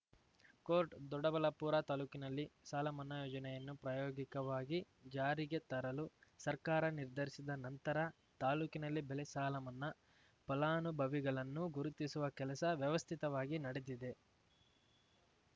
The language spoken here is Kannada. ಕೋರ್ಟ್ ದೊಡ್ಡಬಳ್ಳಾಪುರ ತಾಲೂಕಿನಲ್ಲಿ ಸಾಲ ಮನ್ನಾ ಯೋಜನೆಯನ್ನು ಪ್ರಾಯೋಗಿಕವಾಗಿ ಜಾರಿಗೆ ತರಲು ಸರ್ಕಾರ ನಿರ್ಧರಿಸಿದ ನಂತರ ತಾಲೂಕಿನಲ್ಲಿ ಬೆಳೆ ಸಾಲಮನ್ನಾ ಫಲಾನುಭವಿಗಳನ್ನು ಗುರುತಿಸುವ ಕೆಲಸ ವ್ಯವಸ್ಥಿತವಾಗಿ ನಡೆದಿದೆ